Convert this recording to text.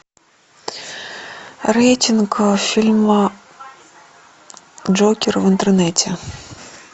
рейтинг фильма джокер в интернете